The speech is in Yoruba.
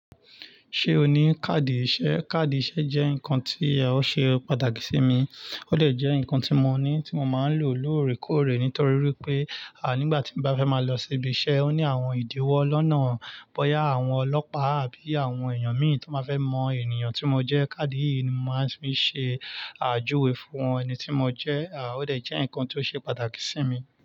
Ṣé o ní káàdì ìṣe? Kaadi ìṣe jẹ́ nǹkan tí o ṣe pàtàkì sí mi. Ó de je ǹkan tí mo ní tí mo máa ń lò lóòrèkóòrè nítorí pé, à nígbà tí mo bá fẹ́ máa lọ sí ibi iṣẹ́ ó ní àwọn ìdíwọ́ lọ́nà, bóyá àwọn ọlọ́pàá àbí àwọn èèyàn mí ì tí máa fẹ́ mọ ènìyàn tí mo jẹ́. Kaadi yìí ni mo máa ń fi ṣe àjúwe fún wọn ẹni tí mo jẹ́. À ó de je ǹkan tí ó ṣe pàtàkì sí mi.